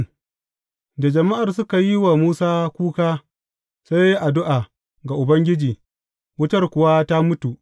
Da jama’ar suka yi wa Musa kuka, sai ya yi addu’a ga Ubangiji, wutar kuwa ta mutu.